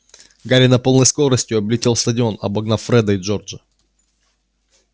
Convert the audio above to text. гарри на полной скорости облетел стадион обогнав фреда и джорджа